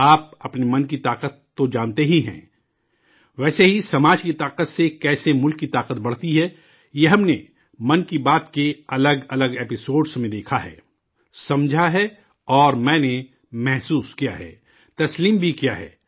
آپ، اپنے من کی طاقت تو جانتے ہی ہیں، ویسے ہی، سماج کی طاقت سے کیسے ملک کی طاقت بڑھتی ہے، یہ ہم نے 'من کی بات' کے الگ الگ ایپی سوڈ میں دیکھا ہے، سمجھا ہے، اور میں نے محسوس کیا ہے تسلیم بھی کیا ہے